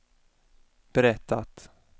berättat